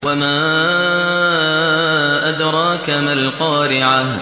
وَمَا أَدْرَاكَ مَا الْقَارِعَةُ